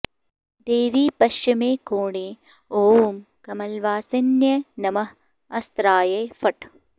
देवी पश्चिमे कोणे ॐ कमलवासिन्यै नमः अस्त्राय फट्